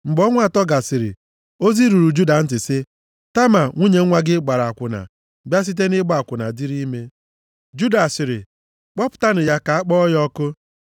Mgbe ọnwa atọ gasịrị, ozi ruru Juda ntị sị, “Tama nwunye nwa gị gbara akwụna, bịa site nʼịgba akwụna dịrị ime.” Juda sịrị, “Kpọpụtanụ ya ka akpọọ ya ọkụ.”